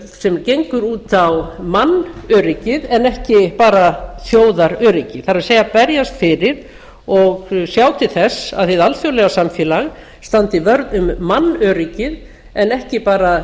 sem gengur út á mannöryggið en ekki bara þjóðaröryggi það er berjast fyrir og sjá til þess að hið alþjóðlega samfélag standi vörð um mannöryggið en ekki bara